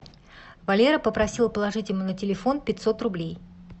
валера попросил положить ему на телефон пятьсот рублей